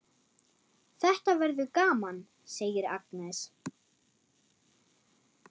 Þetta verður gaman, segir Agnes.